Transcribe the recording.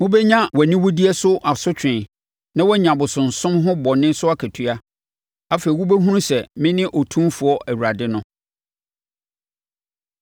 Wobɛnya wʼaniwudeɛ so asotwe na woanya abosonsom ho bɔne so akatua. Afei wobɛhunu sɛ mene Otumfoɔ Awurade no.”